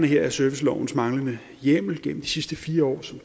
her er servicelovens manglende hjemmel gennem de sidste fire år som